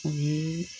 O ye